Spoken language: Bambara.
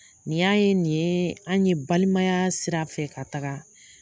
Ni y'a ye nin ye an ye balimaya sira fɛ ka taga.